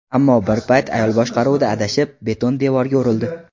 Ammo bir payt ayol boshqaruvda adashib, beton devorga urildi.